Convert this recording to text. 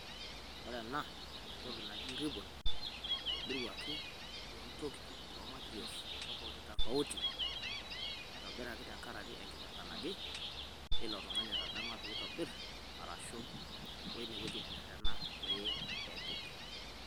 Ore ena naa entoki naji ribbon, naitobiruaki too ntokitin too materials tofauti tofauti naitobiraki tenkaraki enkipirta naje ilo tung'ani atadamua pee itobirr arashu oo ine wueji natererena pee epik.